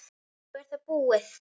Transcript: Svo er það búið.